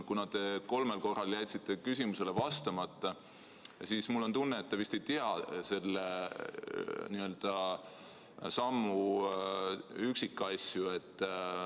Kuna te kolmel korral jätsite küsimusele vastamata, siis mul on tunne, et te vist ei tea selle sammu üksikasju.